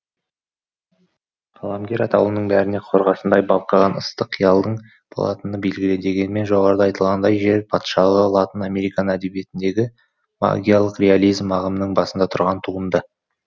қаламгер атаулының бәрінде қорғасындай балқыған ыстық қиялдың болатыны белгілі дегенмен жоғарыда айтылғандай жер патшалығы латын американ әдебиетіндегі магиялық реализм ағымының басында тұрған туынды